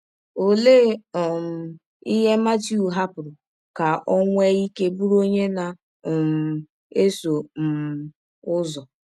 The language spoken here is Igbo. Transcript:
Ọlee um ihe Matiụ hapụrụ ka ọ nwee ike bụrụ ọnye na um - esọ um ụzọ?